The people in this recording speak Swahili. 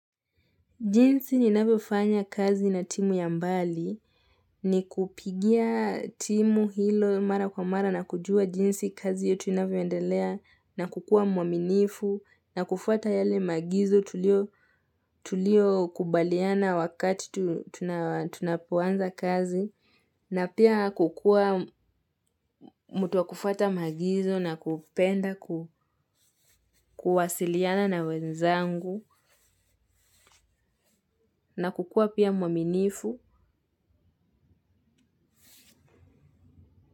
Jinsi ninavyofanya kazi na timu ya mbali ni kupigia timu hilo mara kwa mara na kujua jinsi kazi yetu inavyoendelea na kukuwa mwaminifu na kufuata yale maagizo tuliokubaliana wakati tuna tunapoanza kazi na pia kukuwa mtu wa kufuata maagizo na kupenda kuwasiliana na wenzangu na kukua pia muaminifu.